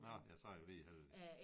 Nåh ja så var de heldige